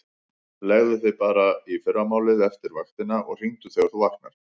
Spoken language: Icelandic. Leggðu þig bara í fyrramálið eftir vaktina og hringdu þegar þú vaknar.